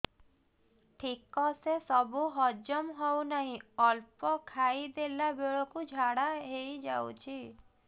ଠିକସେ ସବୁ ହଜମ ହଉନାହିଁ ଅଳ୍ପ ଖାଇ ଦେଲା ବେଳ କୁ ଝାଡା ହେଇଯାଉଛି